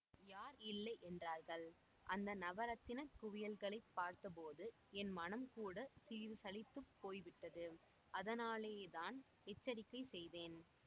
யார் இல்லை என்றார்கள் அந்த நவரத்தினக் குவியல்களைப் பார்த்தபோது என் மனது கூட சிறிது சலித்துப் போய் விட்டது அதனாலேதான் எச்சரிக்கை செய்தேன்